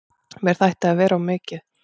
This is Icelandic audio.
Mér þætti það vera of mikið.